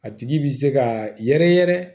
A tigi bi se ka yɛrɛ yɛrɛ